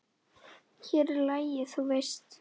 Hér er lagið, þú veist!